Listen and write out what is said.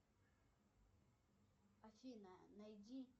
афина найди